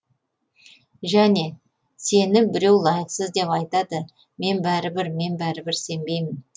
және сені біреу лайықсыз деп айтады мен бәрібір мен бәрібір сенбеймін